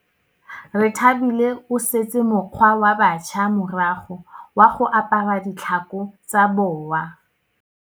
Rethabile o setse mokgwa wa batšha morago wa go apara ditlhako tsa boa.